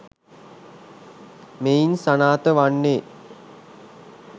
මෙයින් සනාථ වන්නේ